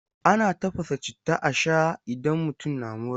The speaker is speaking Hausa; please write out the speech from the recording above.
Ana tafasa citta a shaa idan mutum na mura.